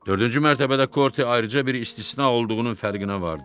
Dördüncü mərtəbədə Korte ayrıca bir istisna olduğunun fərqinə vardı.